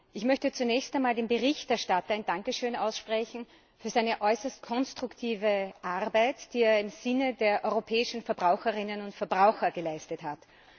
Ich möchte zunächst einmal dem Berichterstatter ein Dankeschön aussprechen für seine äußerst konstruktive Arbeit, die er im Sinne der europäischen Verbraucherinnen und Verbraucher geleistet hat.